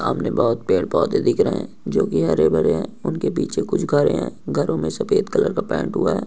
सामने बहुत पेड़ पौधे दिख रहे है जो की हरे भरे है उनके पीछे कुछ घर हैं घरों में सफेद कलर का पेंट हुआ है।